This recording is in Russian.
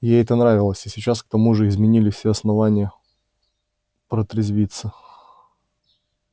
ей это нравилось а сейчас к тому же имелись все основания протрезвиться